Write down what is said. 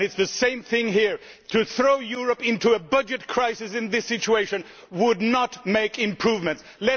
It is the same thing here to throw Europe into a budget crisis in this situation would not improve matters.